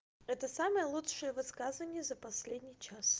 это самое лучшее высказывание за последний час